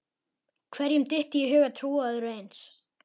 Hverjum dytti í hug að trúa öðru eins?